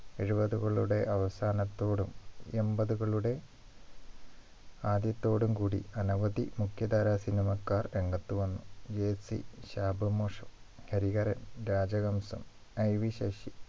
എഴുപതുകളുടെ അവസാനത്തോടും എൺപത്കളുടെ ആദ്യത്തോടുകൂടി അനവധി മുഖ്യധാര cinema ക്കാർ രംഗത്ത് വന്നു jersey ശാപമോക്ഷം ഹരിഹരൻ രാജഹംസം IV ശശി